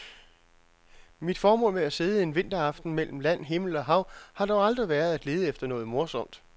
Mit formål med at sidde en vinteraften mellem land, himmel og hav har dog aldrig været at lede efter noget morsomt.